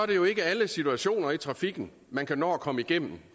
det jo ikke alle situationer i trafikken man kan nå at komme igennem